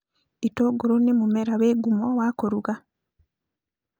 Itũngũrũ nĩ mũmera wĩ ngumo wa kũruga